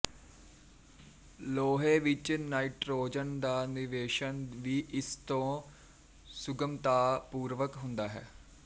ਲੋਹੇ ਵਿੱਚ ਨਾਇਟਰੋਜਨ ਦਾ ਨਿਵੇਸ਼ਨ ਵੀ ਇਸ ਤੋਂ ਸੁਗਮਤਾਪੂਰਵਕ ਹੁੰਦਾ ਹੈ